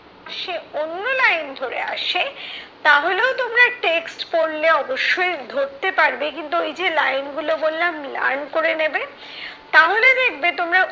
সে অন্য line ধরে আসে তাহলেও তোমরা text পড়লে অবশ্যই ধরতে পারবে কিন্তু ঐযে line গুলো বললাম learn করে নেবে, তাহলে দেখবে তোমরা